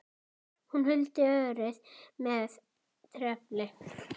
Hún huldi örið með trefli.